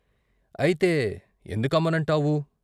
" అయితే ఎందుకమ్మనంటావూ?